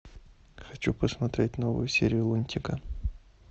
хочу посмотреть новую серию лунтика